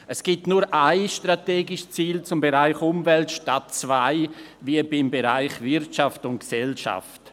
Es gibt nur ein strategisches Ziel zum Bereich Umwelt, statt zwei wie zum Bereich Wirtschaft und Gesellschaft.